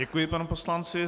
Děkuji panu poslanci.